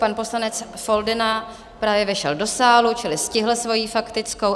Pan poslanec Foldyna právě vešel do sálu, čili stihl svoji faktickou.